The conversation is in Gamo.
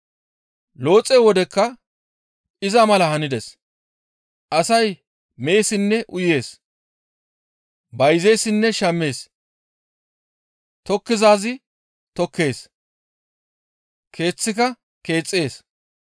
«Looxe wodekka iza mala hanides; asay meessinne uyees; bayzeessinne shammees; tokkizaaz tokkees; keeththika keexxees.